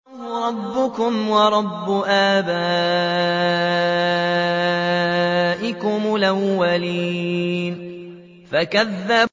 اللَّهَ رَبَّكُمْ وَرَبَّ آبَائِكُمُ الْأَوَّلِينَ